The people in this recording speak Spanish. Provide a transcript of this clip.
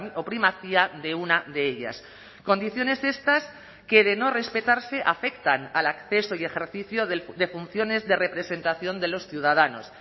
o primacía de una de ellas condiciones estas que de no respetarse afectan al acceso y ejercicio de funciones de representación de los ciudadanos